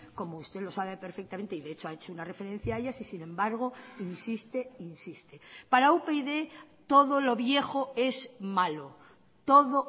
como usted lo sabe perfectamente de hecho ha hecho una referencia a ellas y sin embargo insiste e insiste para upyd todo lo viejo es malo todo